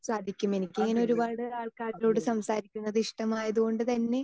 speaker 2 സാധിക്കും എനിക്ക് ഇങ്ങനെ ഒരുപാട് ആൾക്കാരോട് സംസാരിക്കുന്നത് ഇഷ്ടമായതുകൊണ്ടുതന്നെ